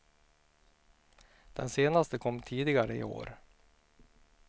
Den senaste kom tidigare i år.